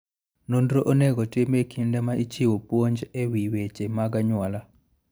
Nonro onego otim e kinde ma ichiwo puonj e wi weche mag anyuola.